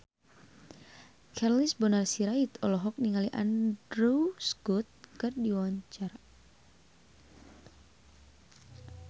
Charles Bonar Sirait olohok ningali Andrew Scott keur diwawancara